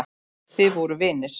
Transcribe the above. Þið voruð vinir.